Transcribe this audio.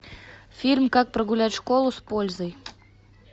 фильм как прогулять школу с пользой